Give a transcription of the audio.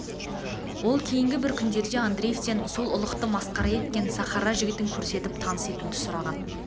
ол кейнгі бір күндерде андреевтен сол ұлықты масқара еткен сахара жігітін көрсетіп таныс етуді сұраған